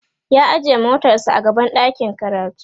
ya ajiye motar sa a gaban ɗakin karatu